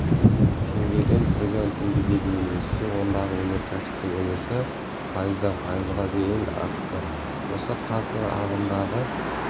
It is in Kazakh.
теңгеден трлн теңгеге дейін өссе ондағы өнеркәсіптің үлесі пайыздан пайызға дейін артты осы қарқын ағымдағы